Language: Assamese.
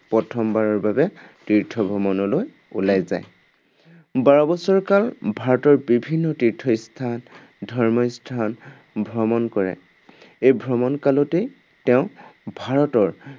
প্ৰথমবাৰৰ বাবে তীৰ্থ ভ্ৰমণলৈ ওলাই যায়। বাৰবছৰ কাল ভাৰতৰ বিভিন্ন তীৰ্থস্থান, ধৰ্মস্থান ভ্ৰমণ কৰে। এই ভ্ৰমণ কালতে তেওঁ ভাৰতৰ